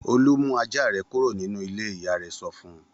Olú mú ajá rẹ kúrò nínú ilé! Ìyá rẹ̀ sọ fún un.